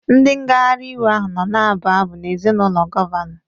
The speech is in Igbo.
Ndị ngagharị iwe ahụ nọ na-abụ abụ n'èzí ụlọ gọvanọ